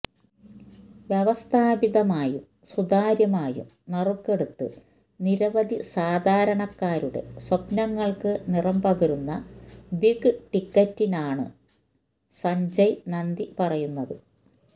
വ്യവസ്ഥാപിതമായും സുതാര്യമായും നറുക്കെടുത്ത് നിരവധി സാധാരണക്കാരുടെ സ്വപ്നങ്ങള്ക്ക് നിറം പകരുന്ന ബിഗ് ടിക്കറ്റിനാണ് സഞ്ജയ് നന്ദി പറയുന്നത്